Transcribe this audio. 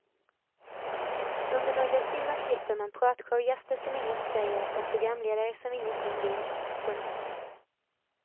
Under några timmar slipper man pratshowgäster som inget säger och programledare som ingenting vill. punkt